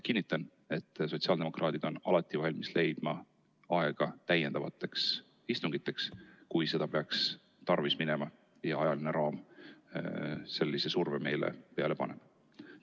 Kinnitan, et sotsiaaldemokraadid on alati valmis leidma aega täiendavateks istungiteks, kui seda peaks tarvis minema ja ajaline raam sellise surve meile paneb.